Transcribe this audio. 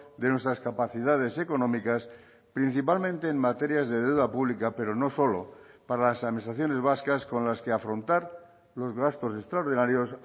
de nuestras capacidades económicas principalmente en materias de deuda pública pero no solo para las administraciones vascas con las que afrontar los gastos extraordinarios